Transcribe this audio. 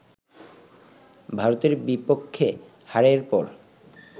ভারতের বিপক্ষে হারের পর